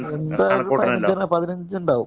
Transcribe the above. എന്‍റെ അറിവില്‍ പതിനഞ്ചു ഉണ്ടാകും.